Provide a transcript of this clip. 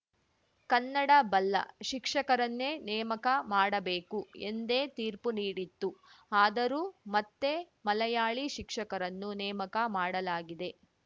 ಕನ್ನಡ ಬಲ್ಲ ಶಿಕ್ಷಕರನ್ನೇ ನೇಮಕ ಮಾಡಬೇಕು ಎಂದೇ ತೀರ್ಪು ನೀಡಿತ್ತು ಆದರೂ ಮತ್ತೆ ಮಲಯಾಳಿ ಶಿಕ್ಷಕರನ್ನು ನೇಮಕ ಮಾಡಲಾಗಿದೆ